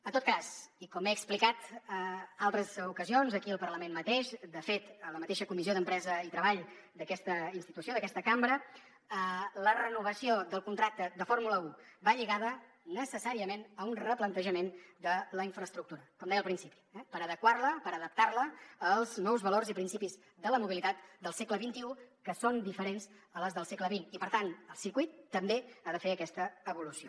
en tot cas i com he explicat en altres ocasions aquí al parlament mateix de fet en la mateixa comissió d’empresa i treball d’aquesta institució d’aquesta cambra la renovació del contracte de fórmula un va lligada necessàriament a un replantejament de la infraestructura com deia al principi per adequar la per adaptar la als nous valors i principis de la mobilitat del segle xxi que són diferents a les del segle per tant el circuit també ha de fer aquesta evolució